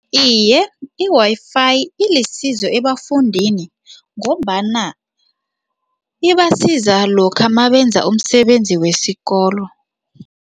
Iye, i-Wi-Fi ilisizo ebafundini ngombana ibasiza lokha mabenza umsebenzi wesikolo.